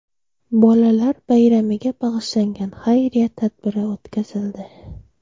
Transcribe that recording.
Bolalar bayramiga bag‘ishlangan xayriya tadbiri o‘tkazildi.